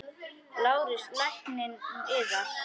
LÁRUS: Lækninn yðar?